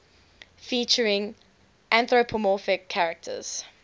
featuring anthropomorphic characters